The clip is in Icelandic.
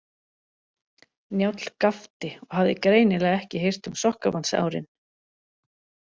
Njáll gapti og hafði greinilega ekki heyrt um sokkabandsárin.